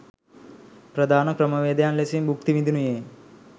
ප්‍රධාන ක්‍රමවේදයක් ලෙසින් භුක්ති විඳිනුයේ